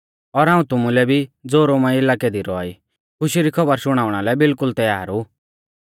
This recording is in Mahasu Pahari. और हाऊं तुमुलै भी ज़ो रोमा इलाकै दी रौआ ई खुशी री खौबर शुणाउणा लै बिलकुल तैयार ऊ